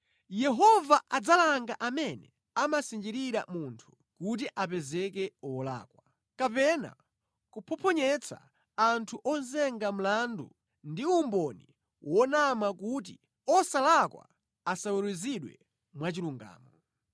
Yehova adzalanga amene amasinjirira munthu kuti apezeke wolakwa, kapena kuphophonyetsa anthu ozenga mlandu ndi umboni wonama kuti osalakwa asaweruzidwe mwachilungamo.